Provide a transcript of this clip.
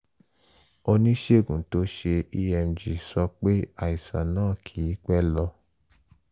oníṣègùn tó ṣe emg sọ pé àìsàn náà kìí pẹ́ lọ